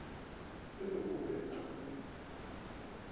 se o be a se